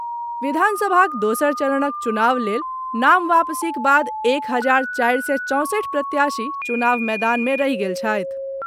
विधानसभाक दोसर चरणक चुनाव लेल नाम वापसीक बाद एक हजार चारि सय चौंसठि प्रत्याशी चुनाव मैदान मे रहि गेल छथि।